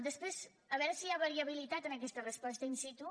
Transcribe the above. després a veure si hi ha variabilitat en aquesta resposta in situ